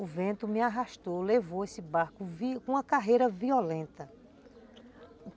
O vento me arrastou, levou esse barco com uma carreira violenta.